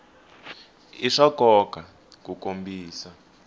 i swa nkoka ku kombisa